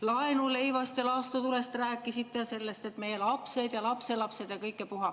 Laenuleivast ja laastutulest rääkisite ja sellest, et meie lapsed ja lapselapsed ja kõik ja puha.